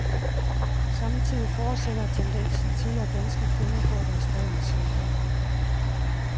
Samtidig fortsætter tendensen til, at danske kvinder får deres børn senere.